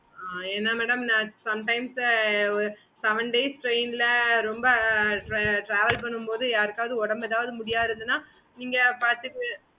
okay mam